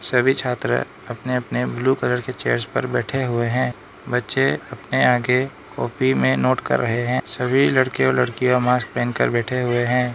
सभी छात्र अपने अपने ब्लू कलर के चेयर्स पर बैठे हुए है बच्चे अपने आगे कॉपी में नोट कर रहे है सभी लड़के और लड़कियां मास्क पहन कर बैठे हुए हैं।